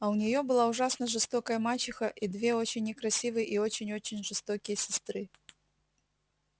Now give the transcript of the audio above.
а у неё была ужасно жестокая мачеха и две очень некрасивые и очень-очень жестокие сестры